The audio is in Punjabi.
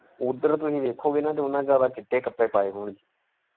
ਉੱਧਰ ਤੁਸੀਂ ਵੇਖੋਗੇ ਨਾ ਤੇ ਉਹਨਾ ਸਾਰਿਆਂ ਨੇ ਚਿੱਟੇ ਕੱਪੜੇ ਪਾਏ ਹੋਣਗੇ।